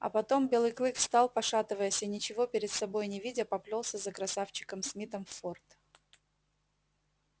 а потом белый клык встал пошатываясь и ничего перед собой не видя поплёлся за красавчиком смитом в форт